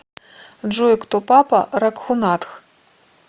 джой кто папа рагхунатх